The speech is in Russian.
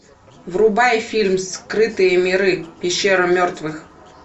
врубай фильм скрытые миры пещера мертвых